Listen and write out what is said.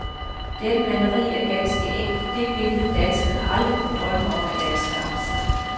Dette maleri er ganske enkelt det billede danskerne aldrig kunne drømme om at anskaffe sig.